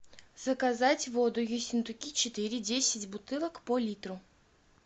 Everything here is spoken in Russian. заказать воду ессентуки четыре десять бутылок по литру